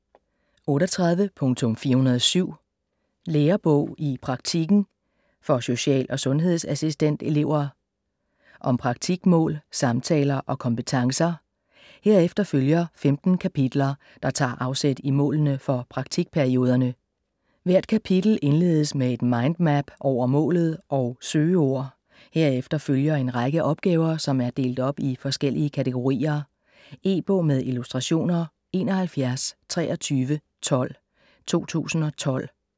38.407 Lærebog i praktikken - for social- og sundhedsassistentelever Om praktikmål, samtaler og kompetencer. Herefter følger 15 kapitler, der tager afsæt i målene for praktikperioderne. Hvert kapitel indledes med et mindmap over målet og søgeord. Herefter følger en række opgaver, som er delt op i forskellige kategorier. E-bog med illustrationer 712312 2012.